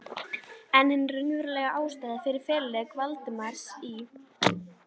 En hin raunverulega ástæða fyrir feluleik Valdimars í